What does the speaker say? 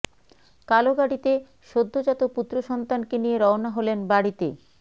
কালো গাড়িতে সদ্যজাত পুত্র সন্তানকে নিয়ে রওনা হলেন বাড়িতে